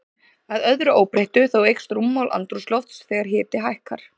Að öðru óbreyttu, þá eykst rúmmál andrúmslofts þegar hiti hækkar.